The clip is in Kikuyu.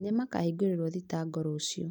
Nĩmakahingũrĩrwo thitango rũciũ